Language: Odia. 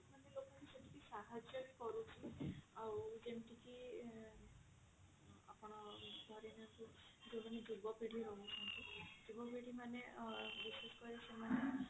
ଲୋକ ଙ୍କୁ ସେତିକି ସାହାର୍ଯ୍ୟ ବି କରୁଛି ଆଉ ଯେମତି କି ଆପଣ ଧରିନିଅନ୍ତୁ ଯାଉମାନେ ଯୁବପିଢୀ ରହୁଛନ୍ତି ଯୁବପିଢୀ ମାନେ ଅ ସେମାନେ